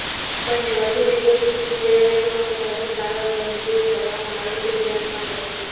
આપણને વધુ વિગત શું તૈયારીઓ અને હરસ સારવાર પદ્ધતિઓ કરવામાં આવે છે ધ્યાનમાં દો